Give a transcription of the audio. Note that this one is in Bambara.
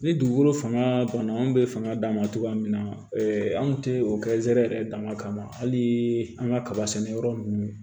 Ni dugukolo fanga banna an bɛ fanga d'a ma cogoya min na anw tɛ o kɛsɛrɛ yɛrɛ dama kama hali an ka kaba sɛnɛyɔrɔ ninnu